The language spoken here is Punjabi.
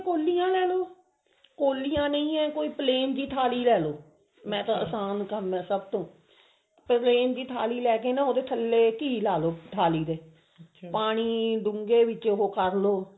ਕੋਲੀਆਂ ਲੈਲੋ ਕੋਲੀਆਂ ਨਹੀਂ ਹੈ ਕੋਈ plan ਜ ਥਾਲੀ ਲੈਲੋ ਮੈਂ ਤਾਂ ਆਸਾਨ ਕੰਮ ਹੈ ਸਭ ਤੋਂ plan ਜੀ ਥਾਲੀ ਲੈਕੇ ਨਾ ਉਹਦੇ ਥੱਲੇ ਘੀ ਲਾ ਲਓ ਥਾਲੀ ਦੇ ਪਾਣੀ ਢੂੰਘੇ ਵਿੱਚ ਉਹ ਕਰ ਲਓ